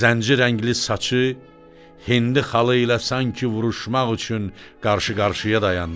Zənc rəngli saçı Hindi xalı ilə sanki vuruşmaq üçün qarşı-qarşıya dayandı.